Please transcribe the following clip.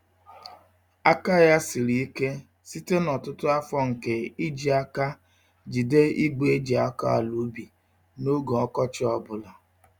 Aka ya siri ike site n'ọtụtụ afọ nke iji àkà jide igwe eji-akọ-àlà-ubi n'oge ọkọchị ọ bụla.